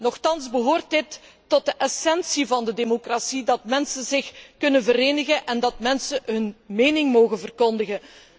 Nochtans behoort het tot de essentie van de democratie dat mensen zich kunnen verenigen en dat mensen hun mening mogen verkondigen.